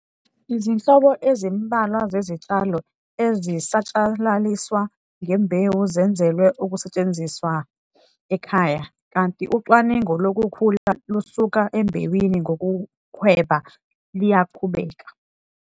Izinhlobo ezimbalwa zezitshalo ezisatshalaliswa ngembewu zenzelwe ukusetshenziswa ekhaya, kanti ucwaningo lokukhula lusuka embewini ngokuhweba luyaqhubeka.